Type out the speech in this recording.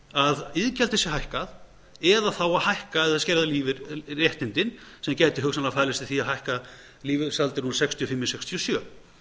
að iðgjaldið sé hækkað eða þá að hækka eða skerða réttindin sem gæti hugsanlega farið eftir því að hækka lífeyrisaldur úr sextíu og fimm í sextíu og sjö